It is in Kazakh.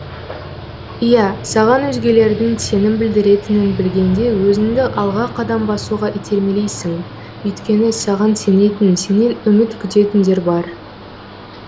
ия саған өзгелердің сенім білдіретінін білгенде өзіңді алға қадам басуға итермелейсің өйткені саған сенетін сенен үміт күтетіндер бар